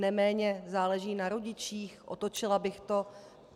Neméně záleží na rodičích, otočila bych to.